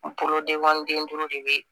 N bolo denkɔni den duuru de be